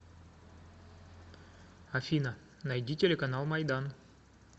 афина найди телеканал майдан